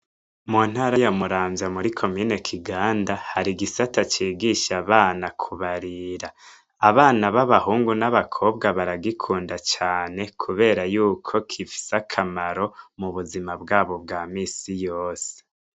Mu ntara yo muramvya muri komine kiganda hari igisata cigisha abana kubarira abana b'abahungu n'abakobwa baragikunda cane, kubera yuko kifise akamaro mu buzima bwabo bwa misi yose.